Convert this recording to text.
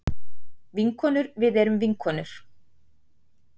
Vinkonur við erum vinkonur.